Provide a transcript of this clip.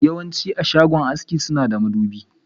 Yawanci shagon haski suna da madubi.